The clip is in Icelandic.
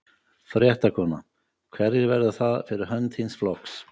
Fréttakona: Hverjir verða það fyrir hönd þíns flokks?